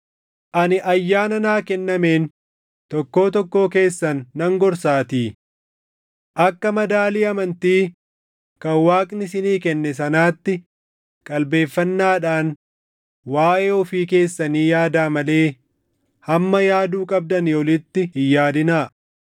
Ani ayyaana naa kennameen tokkoo tokkoo keessan nan gorsaatii: Akka madaalii amantii kan Waaqni isinii kenne sanaatti qalbeeffannaadhaan waaʼee ofii keessanii yaadaa malee hamma yaaduu qabdanii olitti hin yaadinaa.